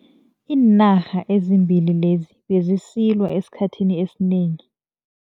Iinarha ezimbili lezi bezisilwa esikhathini esinengi.